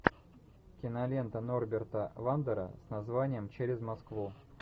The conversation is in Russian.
кинолента норберта вандера с названием через москву